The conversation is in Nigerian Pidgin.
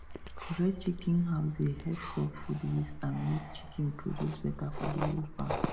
correct chicken house dey help stop food waste and make chicken produce better for the whole farm